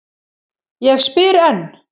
Ég spyr enn.